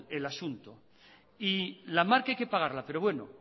el asunto y la marca hay que pagarla pero bueno